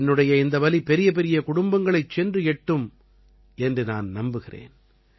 என்னுடைய இந்த வலி பெரியபெரிய குடும்பங்களைச் சென்று எட்டும் என்று நான் நம்புகிறேன்